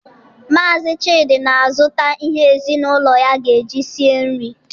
Maazi Chidi na-azụta ihe ezinaụlọ ya ga-eji sie nri.